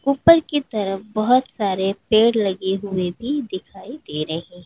ऊपर की तरफ बहोत सारे पेड़ लगे हुए भी दिखाई दे रहे--